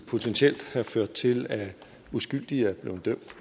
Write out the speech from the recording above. potentielt have ført til at uskyldige er blevet dømt